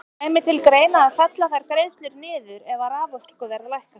Kæmi til greina að fella þær greiðslur niður ef að raforkuverð lækkar?